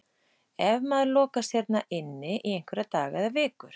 Ef maður lokast hérna inn í einhverja daga eða vikur.